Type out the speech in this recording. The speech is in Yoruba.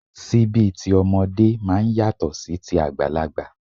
Síbí tí ọmọdé máa ń yàtọ̀ sí ti àgbàlagbà